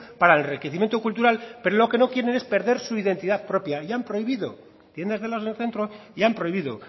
para el enriquecimiento cultural pero lo que no quiere es perder su identidad propia y han prohibido las tiendas de helados en el centro y han prohibido